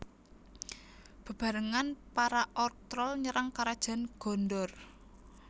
Bebarengan para Orc Troll nyerang karajan Gondor